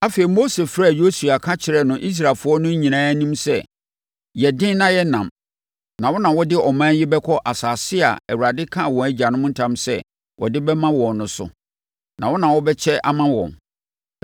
Afei, Mose frɛɛ Yosua ka kyerɛɛ no Israelfoɔ no nyinaa anim sɛ, “Yɛ den na yɛ nnam, na wo na wode ɔman yi bɛkɔ asase a Awurade kaa wɔn agyanom ntam sɛ ɔde bɛma wɔn no so; na wo na wobɛkyɛ ama wɔn.